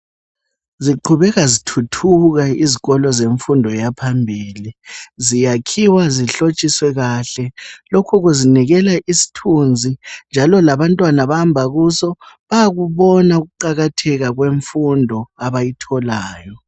Ziqhubeka zithuthuka izikolo zemfundo yaphambili. Ziyakhiwa zihlotshiswe kahle. Lokhu kuzinikela isithunzi njalo labantwana abahamba kuso bayakubona ukuqakatheka kwemfundo abayitholayo.